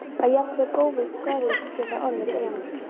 Að jafnvel góðvild og kærleikur geta orðið grimm.